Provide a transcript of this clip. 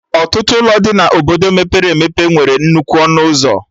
Ọtụtụ ụlọ dị na Obodo mepere emepe nwere nnukwu ọnụ ụzọ